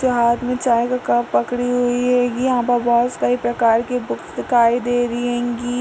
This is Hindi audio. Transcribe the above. हाथ में चाय का कप पकड़ी हुई हेगी। यहाँ पर बहोत सारी प्रकार की बुक दिखाई दे रही हेंगी।